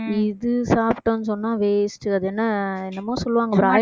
இது சாப்பிட்டோம்னு சொன்னா waste அது என்ன என்னமோ சொல்லுவாங்க broil~